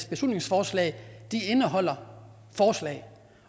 beslutningsforslag indeholder forslag